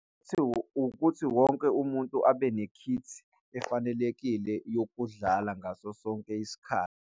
Futhi ukuthi wonke umuntu abe nekhithi efanelekile yokudlala ngaso sonke isikhathi.